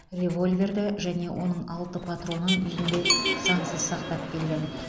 револьверді және оның алты патронын үйінде заңсыз сақтап келген